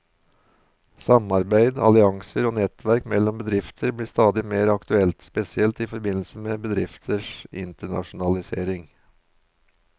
Samarbeid, allianser og nettverk mellom bedrifter blir stadig mer aktuelt, spesielt i forbindelse med bedrifters internasjonalisering.